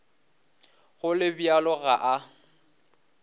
go le bjalo ga a